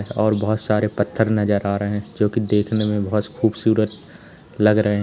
और बहुत सारे पत्थर नजर आ रहे हैं जोकि देखने में बहुत खूबसूरत लग रहे हैं।